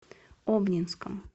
обнинском